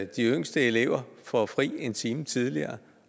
de yngste elever får fri en time tidligere